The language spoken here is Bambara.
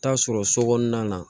Taa sɔrɔ so kɔnɔna na